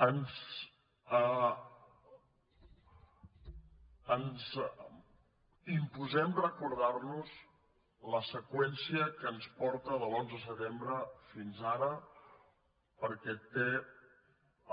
ens imposem recordar nos la seqüència que ens porta de l’onze de setembre fins ara perquè té